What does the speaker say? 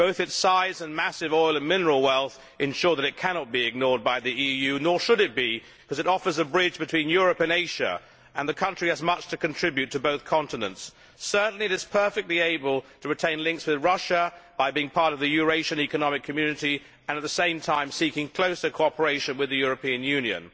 Both its size and massive oil and mineral wealth ensure that it cannot be ignored by the EU, nor should it be, because it offers a bridge between Europe and Asia and the country has much to contribute to both continents. Certainly it is perfectly able to retain links with Russia, by being part of the Eurasian Economic Committee and, at the same time, seek closer cooperation with the European Union.